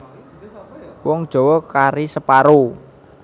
Wong Jawa kari separo